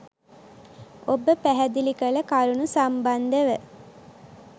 ඔබ පැහැදිලි කළ කරුණු සම්බන්ධව